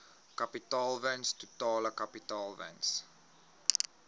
kapitaalwins totale kapitaalwins